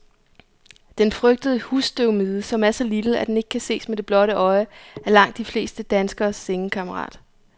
Den frygtede husstøvmide, som er så lille, at den ikke kan ses med det blotte øje, er langt de fleste danskeres sengekammerat.